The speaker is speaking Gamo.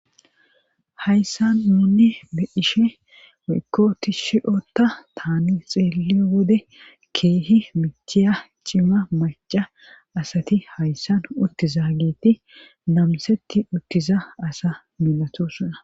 hayssan nuunni be'ashe woykko ti shiyota taani xeele wode keehi michiya cima maca asati hayssan uttizageeti namsetti uttiza asa milatosona